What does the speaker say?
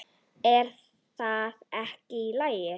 Er það ekki í lagi?